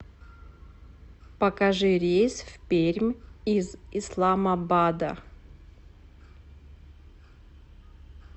покажи рейс в пермь из исламабада